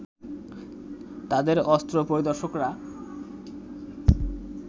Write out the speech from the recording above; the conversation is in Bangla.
তাদের অস্ত্র পরিদর্শকরা